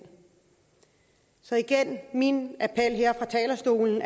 så igen er min appel her fra talerstolen